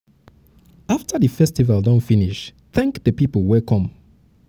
after di festival don finish thank di um pipo wey come